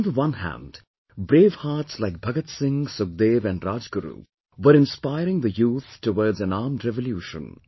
On the one hand, brave hearts like Bhagat Singh, Sukhdev and Rajguru, were inspiring the youth towards an armed revolution